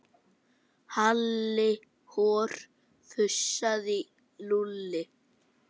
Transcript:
Halli hor fussaði Lúlli.